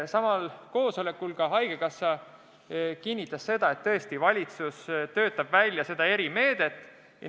Samal koosolekul kinnitas haigekassa esindaja ka seda, et valitsus töötab praegu seda erimeedet välja.